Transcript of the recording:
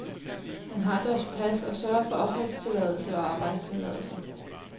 Han har deres pas og sørger for opholdstilladelse og arbejdstilladelse.